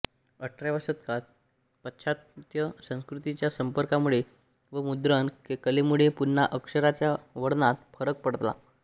अठराव्या शतकात पाश्चात्त्य संस्कृतीच्या संपर्कामुळे व मुद्रण कलेमुळे पुन्हा अक्षराच्या वळणात फरक पडला